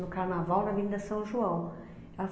No carnaval na Avenida São João.